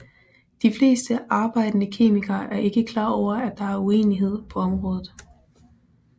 De fleste arbejdende kemikere er ikke klar over at der er uenighed på området